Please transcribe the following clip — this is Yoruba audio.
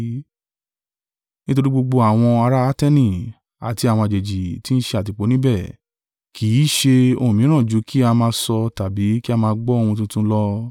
Nítorí gbogbo àwọn ará Ateni, àti àwọn àjèjì tí ń ṣe àtìpó níbẹ̀ kì í ṣe ohun mìíràn jù kí a máa sọ tàbí kí a máa gbọ́ ohun tuntun lọ.